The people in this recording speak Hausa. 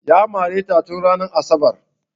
Ya mare ta tun ranar asabar